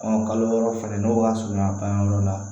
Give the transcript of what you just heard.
kalo wɔɔrɔ falen n'o ka surunya panyɔrɔ la